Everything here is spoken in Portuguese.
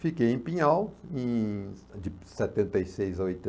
Fiquei em Pinhal, em de setenta e seis a